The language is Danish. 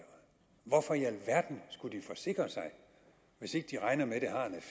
hvorfor i alverden skulle de forsikre sig hvis ikke de regner med